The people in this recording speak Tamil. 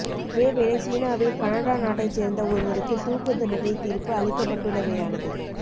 இதேவேளை சீனாவில் கனடா நாட்டைச் சேர்ந்த ஒருவருக்குத் தூக்குத் தண்டனை தீர்ப்பு அளிக்கப் பட்டுள்ளமையானது